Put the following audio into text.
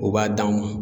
U b'a d'an ma